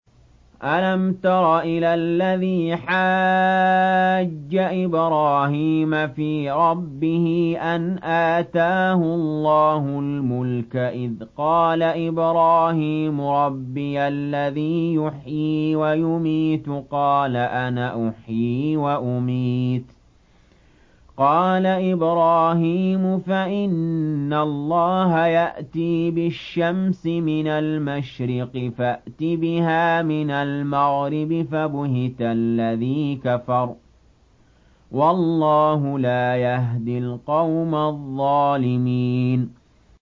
أَلَمْ تَرَ إِلَى الَّذِي حَاجَّ إِبْرَاهِيمَ فِي رَبِّهِ أَنْ آتَاهُ اللَّهُ الْمُلْكَ إِذْ قَالَ إِبْرَاهِيمُ رَبِّيَ الَّذِي يُحْيِي وَيُمِيتُ قَالَ أَنَا أُحْيِي وَأُمِيتُ ۖ قَالَ إِبْرَاهِيمُ فَإِنَّ اللَّهَ يَأْتِي بِالشَّمْسِ مِنَ الْمَشْرِقِ فَأْتِ بِهَا مِنَ الْمَغْرِبِ فَبُهِتَ الَّذِي كَفَرَ ۗ وَاللَّهُ لَا يَهْدِي الْقَوْمَ الظَّالِمِينَ